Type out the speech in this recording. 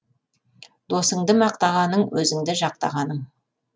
досыңды мақтағаның өзіңді жақтағаның